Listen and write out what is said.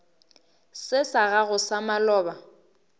se sa gago sa maloba